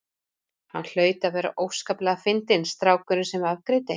Hann hlaut að vera óskaplega fyndinn strákurinn sem afgreiddi.